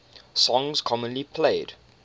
songs commonly played